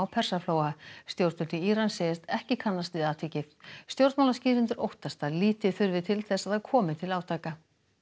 Persaflóa stjórnvöld í Íran segjast ekki kannast við atvikið stjórnmálaskýrendur óttast að lítið þurfi til þess að það komi til átaka